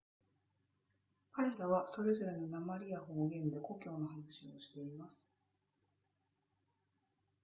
彼らはそれぞれの訛りや方言で故郷の話をしています